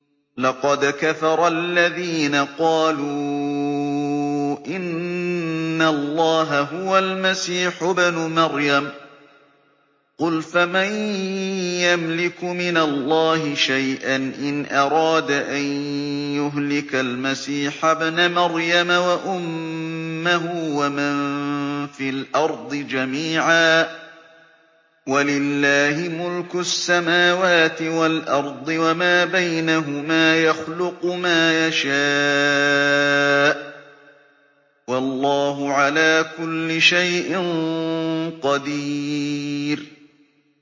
لَّقَدْ كَفَرَ الَّذِينَ قَالُوا إِنَّ اللَّهَ هُوَ الْمَسِيحُ ابْنُ مَرْيَمَ ۚ قُلْ فَمَن يَمْلِكُ مِنَ اللَّهِ شَيْئًا إِنْ أَرَادَ أَن يُهْلِكَ الْمَسِيحَ ابْنَ مَرْيَمَ وَأُمَّهُ وَمَن فِي الْأَرْضِ جَمِيعًا ۗ وَلِلَّهِ مُلْكُ السَّمَاوَاتِ وَالْأَرْضِ وَمَا بَيْنَهُمَا ۚ يَخْلُقُ مَا يَشَاءُ ۚ وَاللَّهُ عَلَىٰ كُلِّ شَيْءٍ قَدِيرٌ